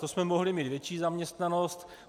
To jsme mohli mít větší zaměstnanost.